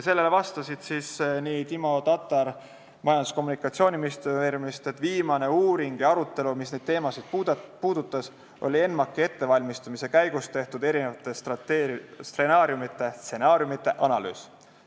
Sellele vastas Timo Tatar Majandus- ja Kommunikatsiooniministeeriumist, et viimane uuring, mis neid teemasid puudutas, oli ENMAK-i ettevalmistamise käigus tehtud eri stsenaariumide analüüs.